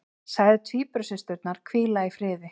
Sagði tvíburasysturnar hvíla í friði